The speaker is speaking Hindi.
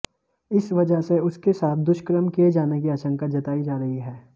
इस वजह से उसके साथ दुष्कर्म किये जाने की आशंका जताई जा रही है